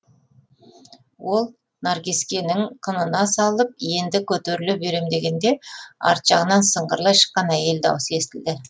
ол наркескенін қынына салып енді көтеріле берем дегенде арт жағынан сыңғырлай шыққан әйел даусы естілді